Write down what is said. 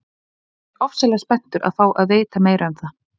Ég er ofsalega spenntur að fá að vita meira um það.